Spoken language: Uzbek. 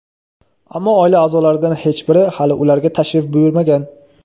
Ammo oila a’zolaridan hech biri hali ularga tashrif buyurmagan.